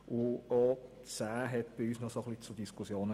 Auch die Planungserklärung 10 führte bei uns zu Diskussionen.